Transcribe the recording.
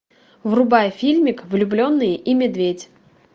врубай фильмик влюбленные и медведь